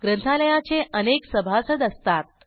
ग्रंथालयाचे अनेक सभासद असतात